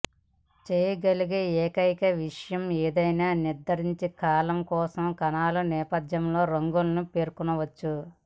చేయగలిగే ఏకైక విషయం ఏదైనా నిర్దిష్ట కాలమ్ కోసం కణాల నేపథ్య రంగును పేర్కొనవచ్చు